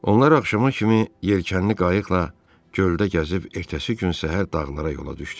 Onlar axşama kimi yelkənli qayıqla göldə gəzib ertəsi gün səhər dağlara yola düşdülər.